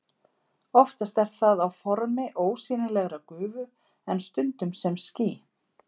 Oftast er það á formi ósýnilegrar gufu en stundum sem ský.